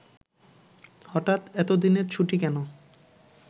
হঠাৎ এতদিনের ছুটি কেন